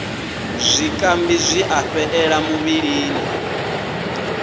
zwikambi zwi a fhaṱela muvhilini